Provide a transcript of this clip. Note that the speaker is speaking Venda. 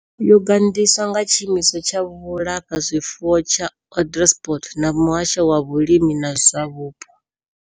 Yo gandiswa nga Tshiimiswa tsha Vhulafha zwifuwo tsha Onderstepoort na Muhasho wa Vhulimi na zwa Vhupo.